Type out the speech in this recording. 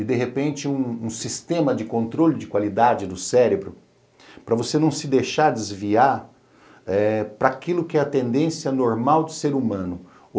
E, de repente, um um sistema de controle de qualidade do cérebro para você não se deixar desviar eh para aquilo que é a tendência normal de ser humano.